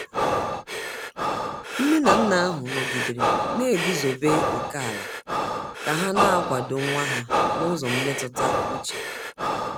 nne na nna ahụ nọgidere na-eguzobe oke ala ka ha na-akwado nwa ha n’ụzọ mmetụta uche.